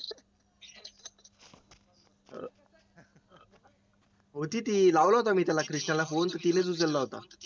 होती ती लावला होता मी त्याला phone तिनेच उचलला होता